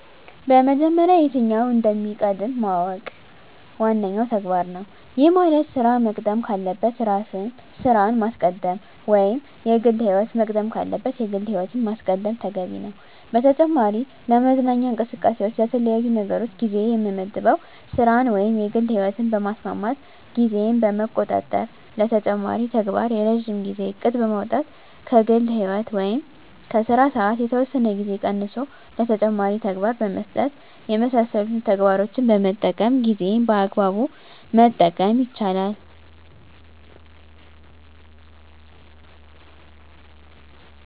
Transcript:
በመጀመሪያ የትኛው እንደሚቀድም ማወቅ ዋነኛው ተግባር ነው። ይህ ማለት ስራ መቅደም ካለበት ስራን ማስቀደም ወይም የግል ህይወት መቅደም ካለበት የግል ህይወትን ማስቀደም ተገቢ ነው። በተጨማሪ ለመዝናኛ እንቅስቃሴዎች ለተለያዩ ነገሮች ጊዜ የምመድበው ስራን ወይም የግል ህይወትን በማስማማት ጊዜን በመቆጣጠር ለተጨማሪ ተግባር የረጅም ጊዜ እቅድ በማውጣት ከግል ህይወት ወይም ከስራ ሰዓት የተወሰነ ጊዜ ቀንሶ ለተጨማሪ ተግባር በመስጠት የመሳሰሉትን ተግባሮችን በመጠቀም ጊዜን በአግባቡ መጠቀም ይቻላል።